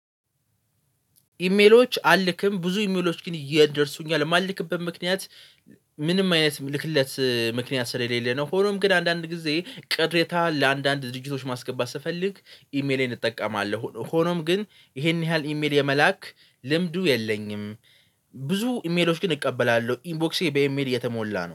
ኢሜሎች አልልክም። ብዙ ኢሜሎች ግን ይደርሱኛል። ለማልክበት ምክንያት ምንም አይነት ልክለት ምክንያት ስለሌለ ነው። ሆኖም ግን አንዳንድ ጊዜ ቅሬታ ለአንዳንድ ድርጅቶች ማስገባት ስፈልግ ኢሜሌን እጠቀማለሁ። ሆኖም ግን ይሄን ያህል ኢሜል የመላክ ልምዱ የለኝም። ብዙ ኢሜሎች ግን እቀበላለሁ ኢንቦክሴ በኢሜል የተሞላ ነው።